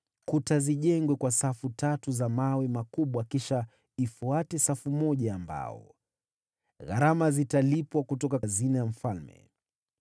kuta zijengwe kwa safu tatu za mawe makubwa kisha ifuate safu moja ya mbao. Gharama zitalipwa kutoka hazina ya mfalme.